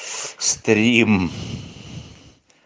стрим